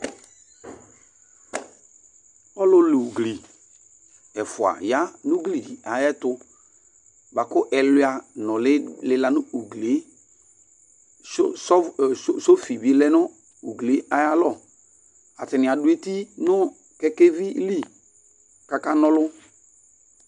Ɔlu la ugli ɛfʋa ya nu ugli ayʋɛtu bʋakʋ ɛlʋa nʋli lila nʋ ugli ye sɔfi bi lɛ nʋ ugli ye ayʋ alɔ Atani adu eti nʋ kɛkɛvi li kʋ akana ɔlu